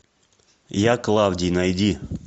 я клавдий найди